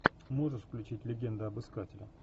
можешь включить легенда об искателе